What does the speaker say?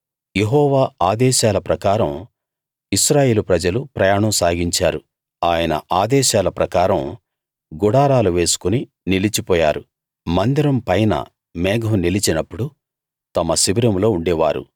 యెహోవా ఆదేశాల ప్రకారం ఇశ్రాయేలు ప్రజలు ప్రయాణం సాగించారు ఆయన ఆదేశాల ప్రకారం గుడారాలు వేసుకుని నిలిచి పోయారు మందిరం పైన మేఘం నిలిచినప్పుడు తమ శిబిరంలో ఉండే వారు